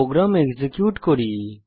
programme execute করি